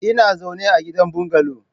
Ina zaune a gidan bungalow.